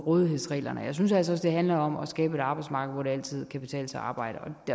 rådighedsreglerne jeg synes altså også det handler om at skabe et arbejdsmarked hvor det altid kan betale sig at arbejde